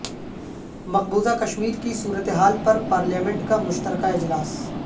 مقبوضہ کشمیر کی صورتحال پر پارلیمنٹ کا مشترکہ اجلاس